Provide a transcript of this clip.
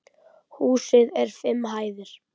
Húsið er fimm hæðir.